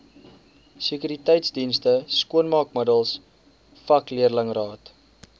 sekuriteitsdienste skoonmaakmiddels vakleerlingraad